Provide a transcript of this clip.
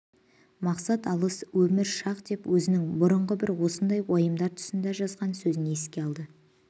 мақсат алыс өмір шақ деп өзінің бұрынғы бір осындай уайымдар тұсында жазған сөзін еске алды